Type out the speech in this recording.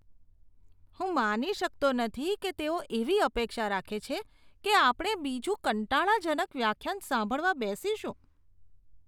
હું માની શકતો નથી કે તેઓ એવી અપેક્ષા રાખે છે કે આપણે બીજું કંટાળાજનક વ્યાખ્યાન સાંભળવા બેસીશું.